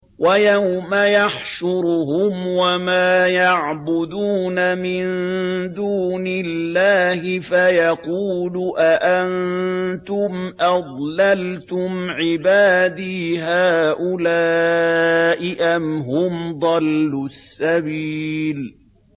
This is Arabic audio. وَيَوْمَ يَحْشُرُهُمْ وَمَا يَعْبُدُونَ مِن دُونِ اللَّهِ فَيَقُولُ أَأَنتُمْ أَضْلَلْتُمْ عِبَادِي هَٰؤُلَاءِ أَمْ هُمْ ضَلُّوا السَّبِيلَ